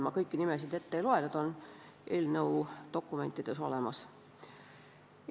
Ma kõiki nimesid ette ei loe, need on eelnõu dokumentides olemas.